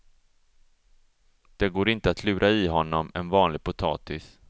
Det går inte att lura i honom en vanlig potatis.